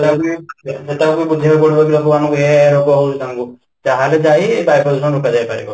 ସେତେବେଳକୁ ବୁଝେଇବାକୁ ପଡିବ କି ଲୋକମାନଙ୍କୁ ଏୟା ଏୟା ରୋଗ ହଉଛି ତାଙ୍କୁ ତାହେଲେ ଯାଇ ବାୟୂପ୍ରଦୂଷଣ କୁ ରୋକ ଯାଇପାରିବ